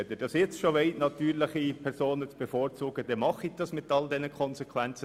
Wenn Sie bereits jetzt die natürlichen Personen bevorzugen möchten, machen Sie das, mit all den Konsequenzen.